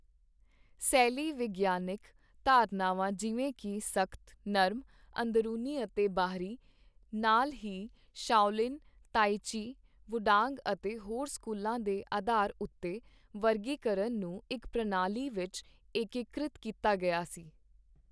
ਸੈਲੀ ਵਿਗਿਆਨਿਕ ਧਾਰਨਾਵਾਂ ਜਿਵੇਂ ਕਿ ਸਖ਼ਤ, ਨਰਮ, ਅੰਦਰੂਨੀ ਅਤੇ ਬਾਹਰੀ, ਨਾਲ ਹੀ ਸ਼ਾਓਲਿਨ, ਤਾਈ ਚੀ, ਵੁਡਾਂਗ ਅਤੇ ਹੋਰ ਸਕੂਲਾਂ ਦੇ ਅਧਾਰ ਉੱਤੇ ਵਰਗੀਕਰਨ ਨੂੰ ਇੱਕ ਪ੍ਰਣਾਲੀ ਵਿੱਚ ਏਕੀਕ੍ਰਿਤ ਕੀਤਾ ਗਿਆ ਸੀ।